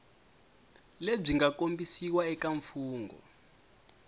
lebyi nga kombisiwa eka mfungho